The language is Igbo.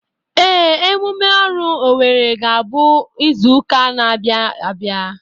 Ee, emume oru Owere ga-abụ izuka n'abia abịa.